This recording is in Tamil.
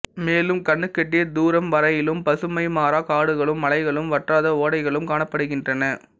மேலும் கண்ணுக்கெட்டிய தூரம் வரையிலும் பசுமை மாறா காடுகளும் மலைகளும் வற்றாத ஓடைகளும் காணப்படுகின்றன